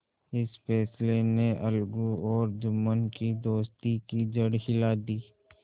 इस फैसले ने अलगू और जुम्मन की दोस्ती की जड़ हिला दी